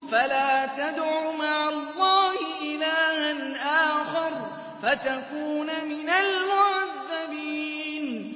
فَلَا تَدْعُ مَعَ اللَّهِ إِلَٰهًا آخَرَ فَتَكُونَ مِنَ الْمُعَذَّبِينَ